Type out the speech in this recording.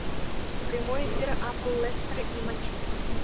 прямой эфир апл лестер и манчестер